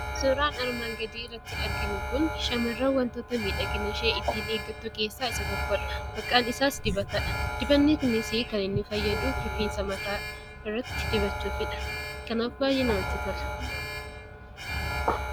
Suuraan armaan gadii irratti arginu kun, shamarran waantota miidhagina ishee ittiin eeggattu keessaa isa tokkodha. Maqaan isaas dibatadha. Dibatni kunis kan inni fayyaduuf rifeensa mataa irratti dibachuufidha. Kanaaf baayyee namatti tola